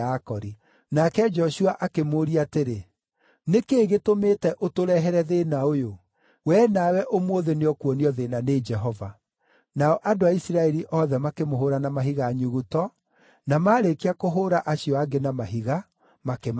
Nake Joshua akĩmũũria atĩrĩ, “Nĩ kĩĩ gĩtũmĩte ũtũrehere thĩĩna ũyũ? Wee nawe ũmũthĩ nĩũkuonio thĩĩna nĩ Jehova.” Nao andũ a Isiraeli othe makĩmũhũũra na mahiga nyuguto, na maarĩkia kũhũũra acio angĩ na mahiga, makĩmacina.